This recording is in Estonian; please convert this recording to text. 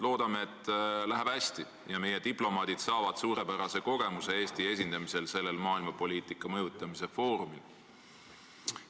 Loodame, et läheb hästi ja meie diplomaadid saavad suurepärase kogemuse, esindades Eestit sellel maailmapoliitika mõjutamise foorumil.